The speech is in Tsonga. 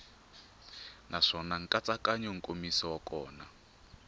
naswona nkatsakanyo nkomiso wa kona